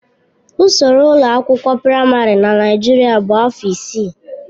Ụsoro ụlọ akwụkwọ praịmarị na Naijiria bụ afọ isii.